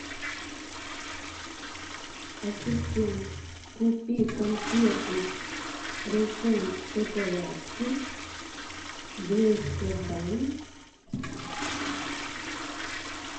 ассистент купи конфеты рошен шоколапки двести грамм